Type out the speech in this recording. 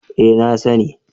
Eh na sani